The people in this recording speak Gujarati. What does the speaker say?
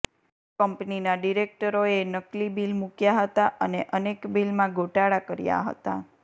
કંપનીના ડિરેક્ટરોએ નકલી બિલ મૂક્યાં હતાં અને અનેક બિલમાં ગોટાળા કર્યા હતા